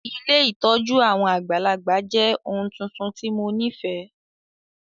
Ilé ìtójú àwon àgbàlagbà jẹ oun tuntun ti mo nifẹ.